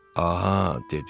Aha, dedi.